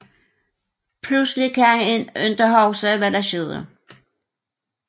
Pludselig kan han ikke huske hvad der skete